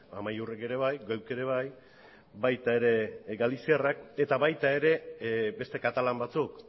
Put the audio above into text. amaiurrek ere bai geuk ere bai baita ere galiziarrek eta baita ere beste katalan batzuk